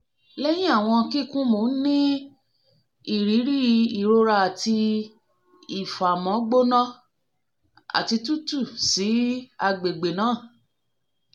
lẹhin awọn kikun mo n ni iriri irora ati ifamọ gbona ati tutu si agbegbe naa